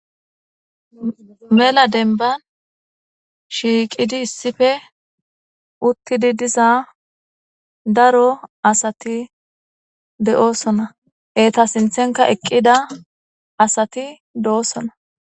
mela denban shiiqidi issife uttidi diza daro asati de7oosona eta sinthenka eqqida asati de7oosona